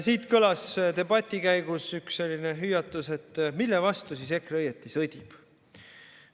Siit kõlas debati käigus üks selline hüüatus, et mille vastu siis EKRE õieti sõdib.